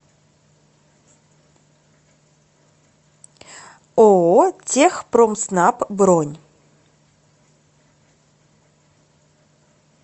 ооо техпромснаб бронь